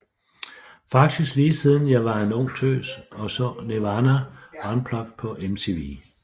Faktisk lige siden jeg var en ung tøs og så Nirvana Unplugged på MTV